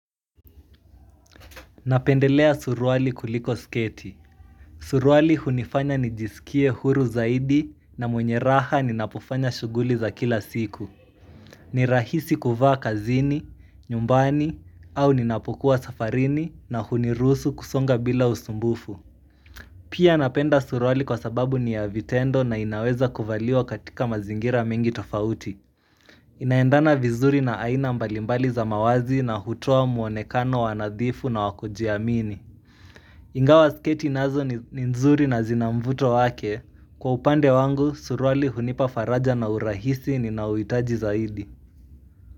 Napendelea suruali kuliko sketi. Suruali hunifanya nijisikie huru zaidi na mwenye raha ninapofanya shughuli za kila siku ni rahisi kuvaa kazini, nyumbani, au ninapokuwa safarini na huniruhusu kusonga bila usumbufu Pia napenda suruali kwa sababu ni ya vitendo na inaweza kuvaliwa katika mazingira mengi tofauti inaendana vizuri na aina mbalimbali za mavazi na hutoa muonekano wa nadhifu na wa kujiamini Ingawa sketi nazo ni nzuri na zina mvuto wake, kwa upande wangu suruali hunipa faraja na urahisi ninaouhitaji zaidi.